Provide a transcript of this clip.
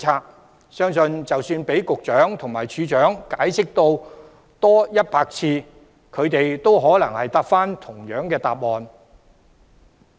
我相信，即使局長和處長解釋100次，他們也可能會提供同樣的答案。